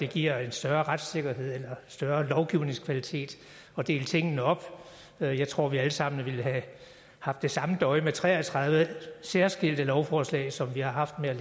giver en større retssikkerhed eller større lovgivningskvalitet at dele tingene op jeg tror vi alle sammen ville have haft det samme døje med tre og tredive særskilte lovforslag som vi har haft med